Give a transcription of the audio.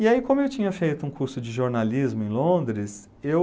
E aí, como eu tinha feito um curso de jornalismo em Londres, eu...